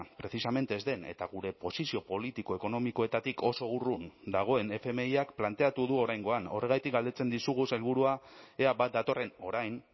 precisamente ez den eta gure posizio politiko ekonomikoetatik oso urrun dagoen fmiak planteatu du oraingoan horregatik galdetzen dizugu sailburua ea bat datorren orain